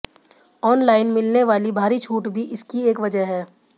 online मिलने वाली भारी छूट भी इसकी एक वजह है